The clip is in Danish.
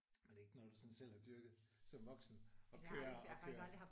Men det er ikke noget du sådan selv har dyrket som voksen at køre at køre